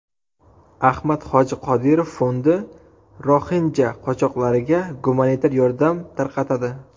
Ahmad hoji Qodirov fondi roxinja qochoqlariga gumanitar yordam tarqatadi.